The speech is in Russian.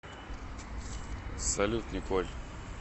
салют николь